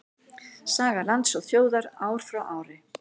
Saga lands og þjóðar ár frá ári.